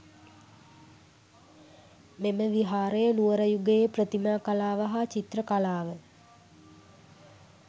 මෙම විහාරය නුවර යුගයේ ප්‍රතිමා කලාව හා චිත්‍ර කලාව